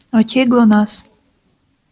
к кому пришла красавица